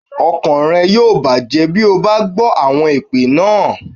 Ọkàn rẹ̀ yóò bàjẹ́ bí o bá gbọ́ àwọn èpè náà.